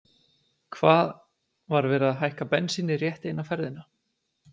Hvað, var verið að hækka bensínið rétt eina ferðina?